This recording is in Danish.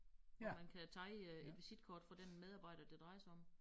Hvor man kan tage øh et visitkort fra den medarbejder det drejer sig om